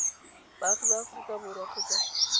baagi ba aforika borwa kgotsa